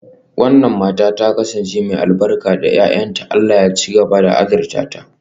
Wannan matar ta kasance mai albarka ga 'ya'yanta, Allah ya ci gaba da azurta ta.